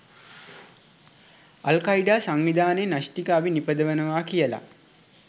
අල් Qaeda සංවිධානය න්‍යෂ්ටික අවි නිපදවනවා කි‍යල